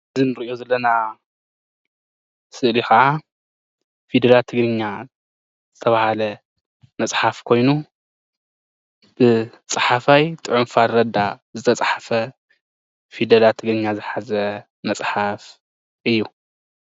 አዚ እንሪኦ ዘለና ስእሊ ከዓ ፊደላት ትግርኛ ዝተባሃለ መፅሓፍ ኮይኑ ብፃሓፋይ ጥዑም ፋረዳ ዝተፃሓፈ ፊደላት ትግርኛ ዝሓዘ መፅሓፍ እዩ፡፡